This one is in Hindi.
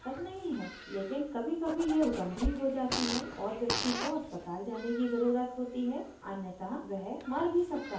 लेकिन कभीकभी यह गंभीर हो जाती है और व्यक्ति को अस्पताल जाने की ज़रुरत होती है अन्यथा वह मर भी सकता है